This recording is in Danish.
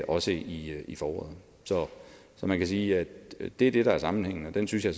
også i i foråret så man kan sige at det er det der er sammenhængen og den synes jeg